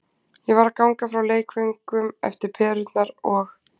Ég var að ganga frá leikföngunum eftir perurnar og.